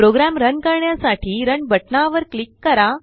programme run करण्यासाठी run बटनावर click करा